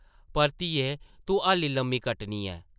पर धिये तूं हाल्ली लम्मी कट्टनी ऐ ।